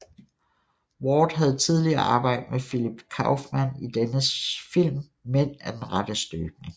Ward havde tidligere arbejdet med Philip Kaufman i dennes film Mænd af den rette støbning